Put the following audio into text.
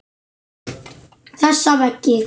Þessa veggi.